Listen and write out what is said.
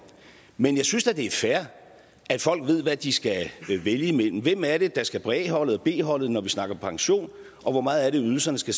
men jeg synes da det er fair at folk ved hvad de skal vælge mellem hvem er det der skal på a holdet b holdet når vi snakker pension og hvor meget er det ydelserne skal